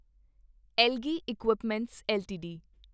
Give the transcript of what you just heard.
algae equipments LTD